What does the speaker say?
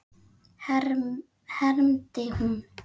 hermdi hún.